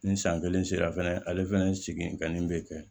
Ni san kelen sera fɛnɛ ale fɛnɛ seegin kan nin bɛ kɛ